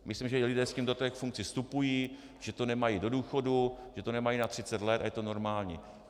Myslím, že lidé s tím do těch funkcí vstupují, že to nemají do důchodu, že to nemají na 30 let a je to normální.